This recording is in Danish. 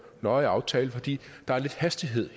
nøje aftale fordi der er lidt hastighed